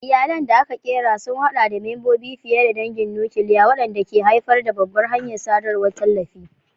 Iyalan da aka ƙera sun haɗa da membobi fiye da dangin nukiliya, wanda ke haifar da babbar hanyar sadarwar tallafi.